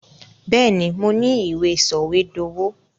Bẹ́ẹ̀, mo ní i ìwé sọ̀wédowó.